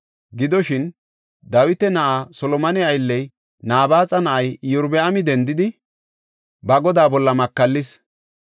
Gidoshin, Dawita na7aa Solomone aylley, Nabaaxa na7ay Iyorbaami dendidi ba godaa bolla makallis.